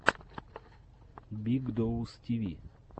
биг доус ти ви